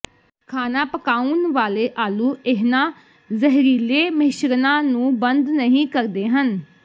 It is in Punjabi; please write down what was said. ਖਾਣਾ ਪਕਾਉਣ ਵਾਲੇ ਆਲੂ ਇਨ੍ਹਾਂ ਜ਼ਹਿਰੀਲੇ ਮਿਸ਼ਰਣਾਂ ਨੂੰ ਬੰਦ ਨਹੀਂ ਕਰਦੇ ਹਨ